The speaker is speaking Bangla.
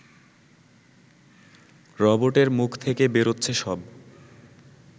রবোটের মুখ থেকে বেরোচ্ছে সব